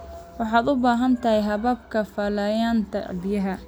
Waxaad u baahan tahay hababka falanqaynta biyaha.